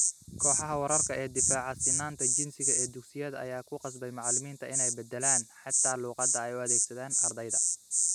Kooxaha wararka ee difaaca sinnaanta jinsiga ee dugsiyada ayaa ku qasbay macallimiinta inay beddelaan, xitaa luqadda ay u adeegsadaan ardayda.